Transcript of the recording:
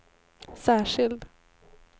särskild